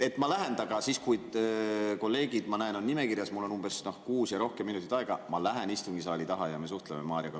Ma lähen siis, kui ma näen, et kolleegid on nimekirjas ja mul on umbes kuus ja rohkem minutit aega, istungisaali tagaossa ja me suhtleme Marioga.